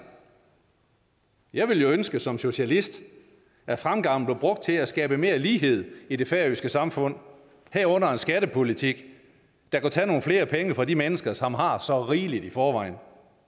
jeg ville jo ønske som socialist at fremgangen blev brugt til at skabe mere lighed i det færøske samfund herunder en skattepolitik der kunne tage nogle flere penge fra de mennesker som har så rigeligt i forvejen